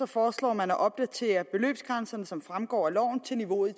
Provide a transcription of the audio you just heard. foreslår man at opdatere beløbsgrænserne som fremgår af loven til niveauet i